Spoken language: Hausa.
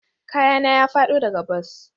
Kayana ya fado daga bas?